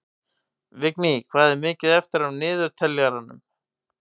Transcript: Vigný, hvað er mikið eftir af niðurteljaranum?